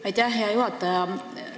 Aitäh, hea juhataja!